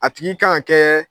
A tigi kan ka kɛ